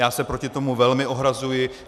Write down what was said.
Já se proti tomu velmi ohrazuji.